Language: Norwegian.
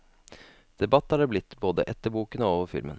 Debatt er det blitt, både etter boken og over filmen.